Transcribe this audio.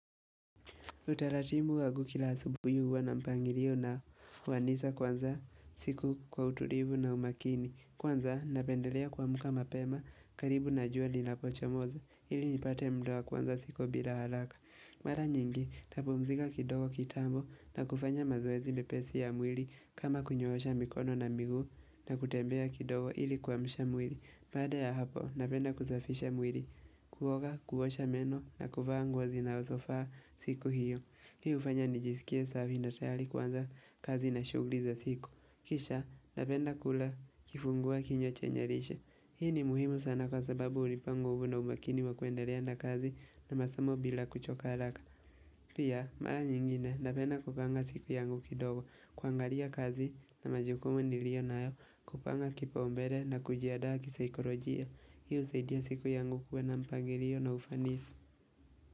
Utaratibu wangu kila asubuhi huwa na mpangilio na wanisa kwanza siku kwa utulivu na umakini. Kwanza napendelea kuamka mapema karibu na jua linapochomoza ili nipate mda wa kuanza siku bila haraka. Mara nyingi, ntapumzika kidogo kitambo na kufanya mazoezi mepesi ya mwili kama kunyoosha mikono na miguu na kutembea kidogo ili kuamsha mwili. Baada ya hapo, napenda kusafisha mwili, kuoga, kuosha meno na kuvaa nguo zinazofaa siku hiyo. Hii hufanya nijisikie safi na tayari kuanza kazi na shughuli za siku. Kisha, napenda kula kifungua kinywa chenye lishe. Hii ni muhimu sana kwa sababu hunipa nguvu na umakini wa kuendelea na kazi na masomo bila kuchoka haraka. Pia, mara nyingine napenda kupanga siku yangu kidogo, kuangalia kazi na majukumu niliyo nayo kupanga kipaumbele na kujiandaa kisaikorojia. Hii husaidia siku yangu kuwa na mpangilio na ufanisi.